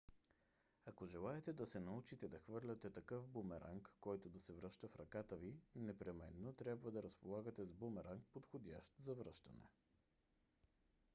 ако желаете да се научите да хвърляте такъв бумеранг който да се връща в ръката ви непременно трябва да разполагате с бумеранг подходящ за връщане